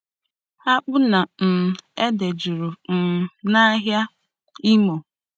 Akpu na um ede juru um nahịa Imo.